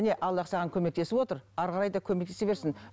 міне аллах саған көмектесіп отыр әрі қарай да көмектесе берсін